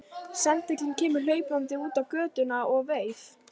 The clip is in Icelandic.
Sendillinn kemur hlaupandi út á götuna og veif